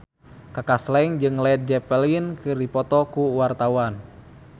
Kaka Slank jeung Led Zeppelin keur dipoto ku wartawan